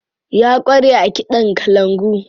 Ya ƙware a kiɗan kalangu.